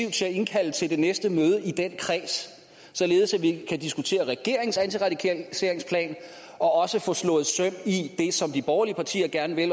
til at indkalde til det næste møde i den kreds således at vi kan diskutere regeringens antiradikaliseringsplan og også få slået søm i det som de borgerlige partier gerne vil